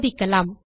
சோதிக்கலாம்